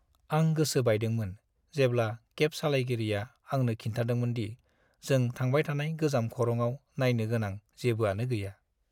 आं गोसो बायदोंमोन जेब्ला केब सालायगिरिया आंनो खिन्थादोंमोन दि जों थांबाय थानाय गोजाम खरंआव नायनो गोनां जेबोआनो गैया।